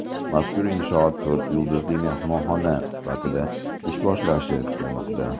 Mazkur inshoot to‘rt yulduzli mehmonxona sifatida ish boshlashi kutilmoqda.